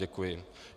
Děkuji.